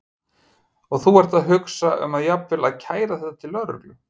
Og þú ert að hugsa um að jafnvel að kæra þetta til lögreglu?